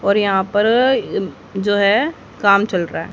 और यहां पर अह जो है काम चल रहा है।